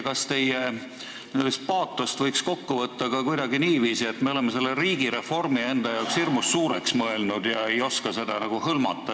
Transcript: Kas teie n-ö paatost võiks kokku võtta ka kuidagi niiviisi, et me oleme selle riigireformi enda jaoks hirmus suureks mõelnud ega oska seda hõlmata?